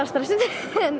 stressuð